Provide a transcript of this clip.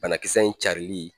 Banakisɛ in carili